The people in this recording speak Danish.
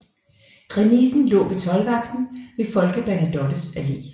Remisen lå ved toldvagten ved Folke Bernadottes Allé